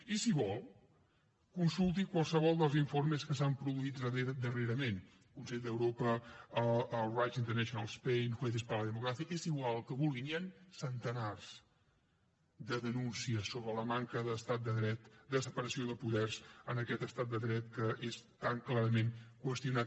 i si vol consulti qualsevol dels informes que s’han produït darrerament consell d’europa el rights international spain jueces para la democracia és igual el que vulgui n’hi han centenars de denúncies sobre la manca de separació de poders en aquest estat de dret que és tan clarament qüestionat